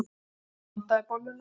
Ég blandaði bolluna.